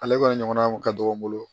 Ale kɔni ɲɔgɔnna kun ka dɔgɔ n bolo